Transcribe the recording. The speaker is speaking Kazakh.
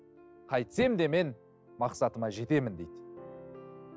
қайтсем де мен мақсатыма жетемін дейді